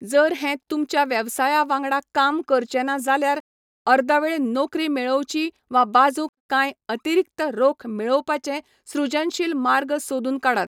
जर हें तुमच्या वेवसाया वांगडा काम करचें ना जाल्यार, अर्दवेळ नोकरी मेळोवची वा बाजूक कांय अतिरिक्त रोख मेळोवपाचे सृजनशील मार्ग सोदून काडात.